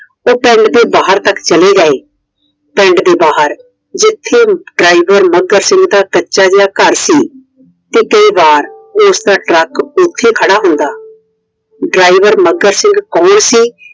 ਉਹ ਪਿੰਡ ਦੇ ਬਾਹਰ ਤੱਕ ਚਲੇ ਗਏ मैं ਪਿੰਡ ਦੇ ਬਾਹਰ ਜਿੱਥੇ ਡਰਾਈਵਰ ਮੱਘਰ ਸਿੰਘ ਦਾ ਕੱਚਾ ਜਿਹਾ ਘਰ ਸੀI ਉਸਦਾ Truck ਉੱਥੇ ਖੜਾ ਹੁੰਦਾ।